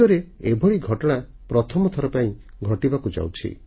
ବିଶ୍ୱରେ ଏଭଳି ଘଟଣା ପ୍ରଥମ ଥର ଘଟିବାକୁ ଯାଉଛି